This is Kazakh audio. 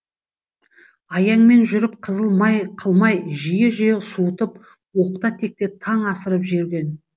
аяңмен жүріп қызыл май қылмай жиі жиі суытып оқта текте таң асырып жүрген